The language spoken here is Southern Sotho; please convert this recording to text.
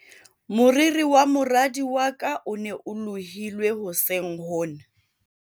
moriri wa moradi wa ka o ne o lohilwe hoseng hona